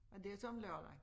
Og det så om lørdagen